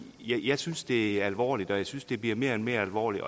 jeg synes det er alvorligt og jeg synes det bliver mere og mere alvorligt